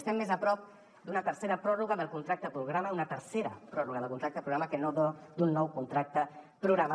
estem més a prop d’una tercera pròrroga del contracte programa una tercera pròrroga del contracte programa que no d’un nou contracte programa